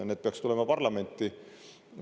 Need peaks tulema parlamenti.